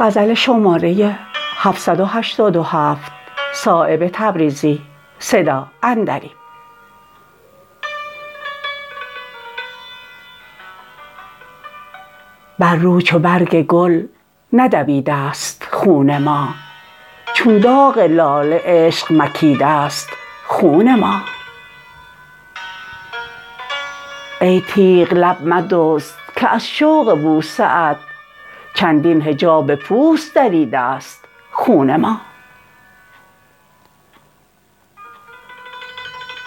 بر رو چو برگ گل ندویده است خون ما چون داغ لاله عشق مکیده است خون ما ای تیغ لب مدزد که از شوق بوسه ات چندین حجاب پوست دریده است خون ما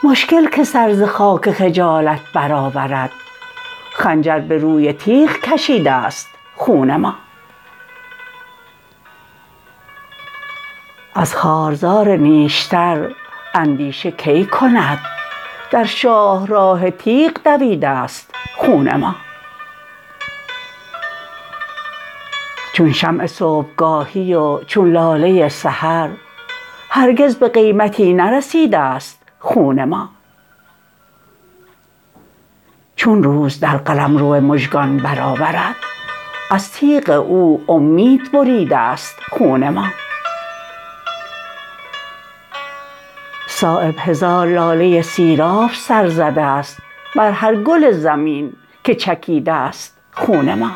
مشکل که سر ز خاک خجالت برآورد خنجر به روی تیغ کشیده است خون ما از خارزار نیشتر اندیشه کی کند در شاهراه تیغ دویده است خون ما چون شمع صبحگاهی و چون لاله سحر هرگز به قیمتی نرسیده است خون ما چون روز در قلمرو مژگان برآورد از تیغ او امید بریده است خون ما صایب هزار لاله سیراب سر زده است بر هر گل زمین که چکیده است خون ما